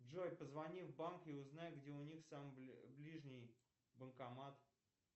джой позвони в банк и узнай где у них самый ближний банкомат